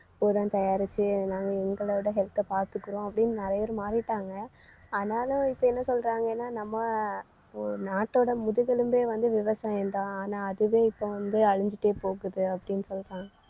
உரம் தயாரிச்சு நாங்க எங்களோட health அ பாத்துக்குறோம் அப்படின்னு நிறைய பேர் மாறிட்டாங்க. ஆனாலும் இப்ப என்ன சொல்றாங்கன்னா நம்ம ஒ~ நாட்டோட முதுகெலும்பே வந்து விவசாயம்தான் ஆனா அதுவே இப்ப வந்து அழிஞ்சுட்டே போகுது அப்படின்னு சொல்றாங்க